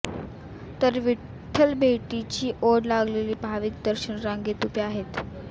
तर विठ्ठलभेटीची ओढ लागलेले भाविक दर्शन रांगेत उभे आहेत